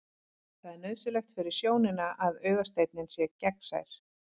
Það er nauðsynlegt fyrir sjónina að augasteininn sé gegnsær.